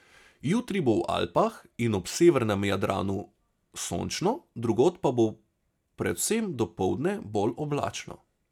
Jutri bo v Alpah in ob severnem Jadranu sončno, drugod pa bo predvsem dopoldne bolj oblačno.